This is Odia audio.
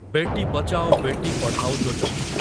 ବେଟି ବଚାଓ, ବେଟି ପଢ଼ାଓ ଯୋଜନା